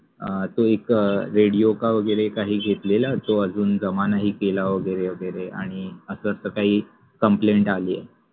अ ते एक रेडिओ का वगेरे काहि घेतलेला तो अजुन जमा नाहि केला वगेरे वगेरे आनि अस काहि complaint आलि आहे.